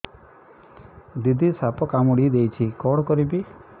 ଦିଦି ସାପ କାମୁଡି ଦେଇଛି କଣ କରିବି